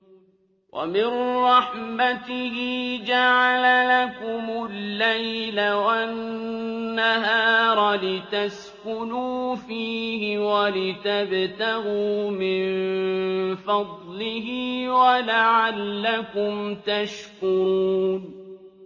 وَمِن رَّحْمَتِهِ جَعَلَ لَكُمُ اللَّيْلَ وَالنَّهَارَ لِتَسْكُنُوا فِيهِ وَلِتَبْتَغُوا مِن فَضْلِهِ وَلَعَلَّكُمْ تَشْكُرُونَ